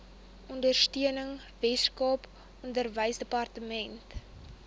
ondersteuning weskaap onderwysdepartement